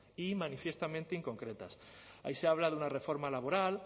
y manifiestamente inconcretas ahí se habla de una reforma laboral